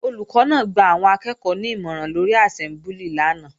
Olùkọ́ náà gba àwọn akẹ́ẹ̀kọ́ ní ìmọ̀ràn lórí àsẹ́mbúlì lánàá